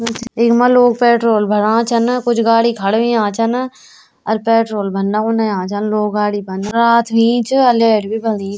इखमा लोग पेट्रोल भराणा छन कुछ गाड़ी खड़ा हुया छन अर पेट्रोल भरना उणे अया छन लोग गाड़ी मा रात हुई च अर लैट भी बलि।